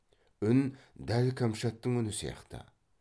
үн дәл кәмшаттың үні сияқты